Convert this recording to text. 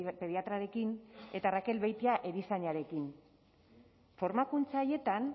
pediatrarekin eta raquel beitia erizainarekin formakuntza haietan